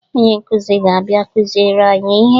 Onye nkụzi ga-abịa kụziere anyị ihe